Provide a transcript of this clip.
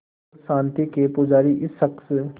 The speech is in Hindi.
और शांति के पुजारी इस शख़्स